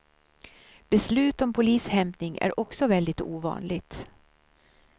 Beslut om polishämtning är också väldigt ovanligt.